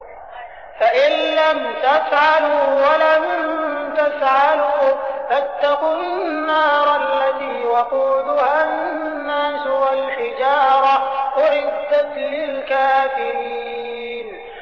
فَإِن لَّمْ تَفْعَلُوا وَلَن تَفْعَلُوا فَاتَّقُوا النَّارَ الَّتِي وَقُودُهَا النَّاسُ وَالْحِجَارَةُ ۖ أُعِدَّتْ لِلْكَافِرِينَ